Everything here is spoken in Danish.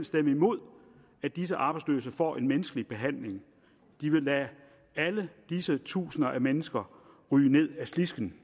stemme imod at disse arbejdsløse får en menneskelig behandling de ville lade alle disse tusinder af mennesker ryge ned ad slisken